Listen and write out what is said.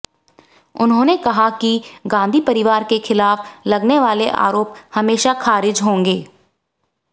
उन्होंने कहा कि गांधी परिवार के खिलाफ लगने वाले आरोप हमेशा खारिज होंगे